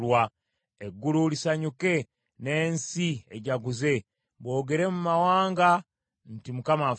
Eggulu lisanyuke, n’ensi ejaguze; boogere mu mawanga nti, “ Mukama afuga!”